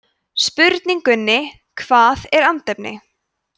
spurningunni hvað er andefni